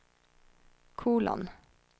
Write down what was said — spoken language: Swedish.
kolon